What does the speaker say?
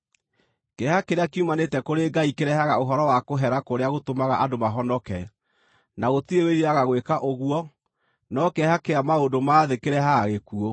Kĩeha kĩrĩa kiumanĩte kũrĩ Ngai kĩrehaga ũhoro wa kũhera kũrĩa gũtũmaga andũ mahonoke, na gũtirĩ wĩriraga gwĩka ũguo, no kĩeha kĩa maũndũ ma thĩ kĩrehaga gĩkuũ.